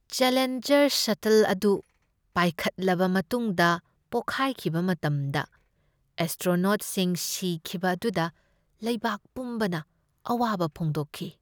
Challenger ꯁꯇꯜ ꯑꯗꯨ ꯄꯥꯏꯈꯠꯂꯕ ꯃꯇꯨꯡꯗ ꯄꯣꯈꯥꯏꯈꯤꯕ ꯃꯇꯝꯗ ꯑꯦꯁ꯭ꯇ꯭ꯔꯣꯅꯣꯠꯁꯤꯡ ꯁꯤꯈꯤꯕ ꯑꯗꯨꯗ ꯂꯩꯕꯥꯛ ꯄꯨꯝꯕꯅ ꯑꯋꯥꯕ ꯐꯣꯡꯗꯣꯛꯈꯤ ꯫